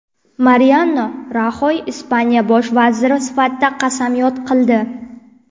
Mariano Raxoy Ispaniya bosh vaziri sifatida qasamyod qildi.